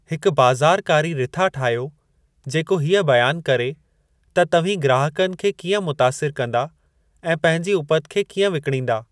हिकु बाज़ारकारी रिथा ठाहियो जेको हीअ बयानु करे त तव्हीं ग्राहकनि खे कीअं मुतासिर कंदा ऐं पंहिंजी उपति खे कीअं विकणींदा।